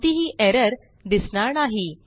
कोणतीही एरर दिसणार नाही